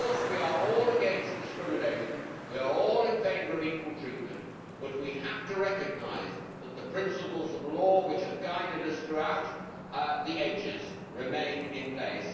Of course we are all against discrimination. We are all in favour of equal treatment, but we have to recognise that the principles of law which have guided us throughout the ages remain in place.